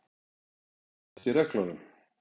Er það ekki í reglunum?